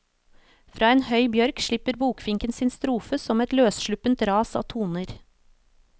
Fra en høy bjørk slipper bokfinken sin strofe som et løssluppent ras av toner.